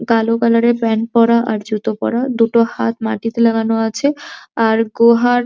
কালো কালার এর প্যান্ট পরা আর জুতো পরা দুটো হাত মাটিতে লাগানো আছে আর গুহার --